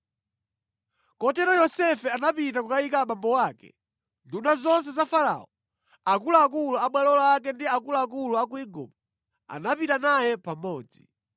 Kotero Yosefe anapita kukayika abambo ake. Nduna zonse za Farao, akuluakulu a bwalo lake ndi akuluakulu a ku Igupto, anapita naye pamodzi.